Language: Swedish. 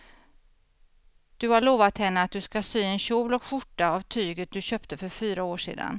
Du har lovat henne att du ska sy en kjol och skjorta av tyget du köpte för fyra år sedan.